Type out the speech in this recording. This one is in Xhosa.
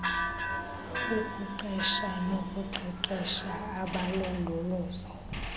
ukuqesha nokuqeqesha abalondolozo